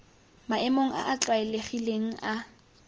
maemong a a tlwaelegileng a